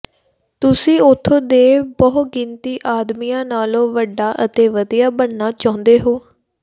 ਤੁਸੀਂ ਉਥੇ ਦੇ ਬਹੁਗਿਣਤੀ ਆਦਮੀਆਂ ਨਾਲੋਂ ਵੱਡਾ ਅਤੇ ਵਧੀਆ ਬਣਨਾ ਚਾਹੁੰਦੇ ਹੋ